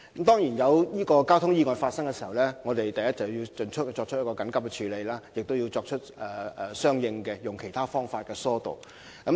當然，每當交通意外發生時，我們首先會緊急處理有關意外，並以其他方法疏導交通。